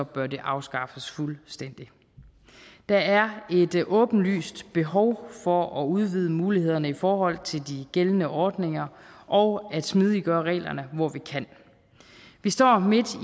bør det afskaffes fuldstændigt der er et åbenlyst behov for at udvide mulighederne i forhold til de gældende ordninger og at smidiggøre reglerne hvor vi kan vi står midt